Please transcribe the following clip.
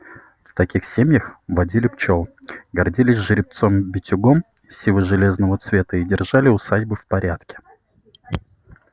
в таких семьях водили пчёл гордились жеребцом-битюгом сиво-железното цвета и держали усадьбы в порядке